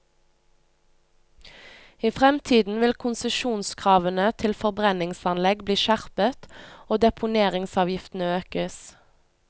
I fremtiden vil konsesjonskravene til forbrenningsanlegg bli skjerpet, og deponeringsavgiftene økes.